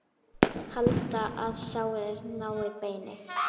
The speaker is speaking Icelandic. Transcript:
Halda, að sárið nái beini.